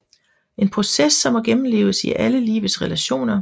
En proces som må gennemleves i alle livets relationer